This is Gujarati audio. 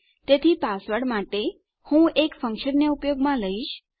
તેથી પાસવર્ડ માટે હું એક ફંક્શનને ઉપયોગમાં લઈશ